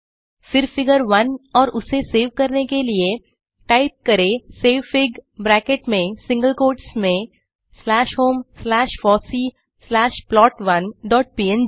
फिर फिगर 1 और उसे सेव करने के लिए टाइप करें सेवफिग ब्रैकेट में सिंगल कोट्स में slash home slash fossee slash plot one dot पंग